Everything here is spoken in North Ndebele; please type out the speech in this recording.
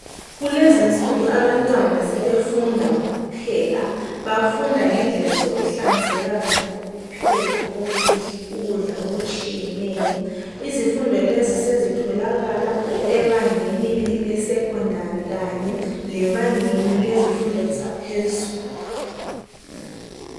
Kulezinsuku abantwana sebefunda ngokupheka. Bafunda ngendlela zokuhlanzeka lokupheka ukudla okutshiyeneyo. Izifundo lezi sezitholakala ebangeni lesekhondari kanye lebangeni lezifundo zaphezulu.